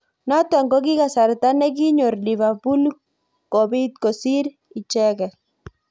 Notok kokikasarta nekinyor Liverpool kobit kosir icheket.